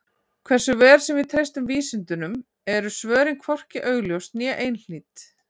Hversu vel sem við treystum vísindunum eru svörin hvorki augljós né einhlít.